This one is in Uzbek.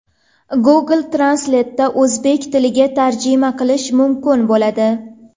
Google Translate’da o‘zbek tiliga tarjima qilish mumkin bo‘ladi.